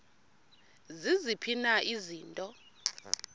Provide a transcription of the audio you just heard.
ziziphi na izinto